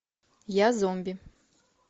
я зомби